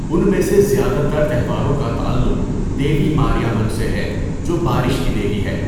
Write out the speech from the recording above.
ان میں سے زیادہ تر تہواروں کا تعلق دیوی ماریامن سے ہے، جو بارش کی دیوی ہے۔